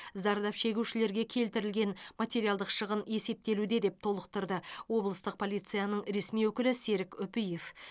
зардап шегушілерге келтірілген материалдық шығын есептелуде деп толықтырды облыстық полицияның ресми өкілі серік үпиев